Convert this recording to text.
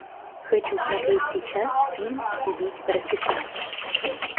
хочу смотреть сейчас фильм убить по расписанию